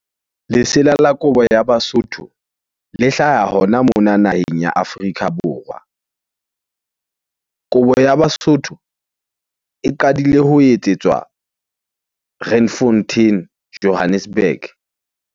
Lesela la kobo ya Basotho le hlaha hona mona naheng ya Afrika Borwa. Kobo ya Basotho e qadile ho etsetswa Randfontein, Johannesburg.